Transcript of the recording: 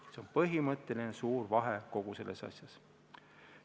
See on põhimõtteline suur vahe kogu selles asjas.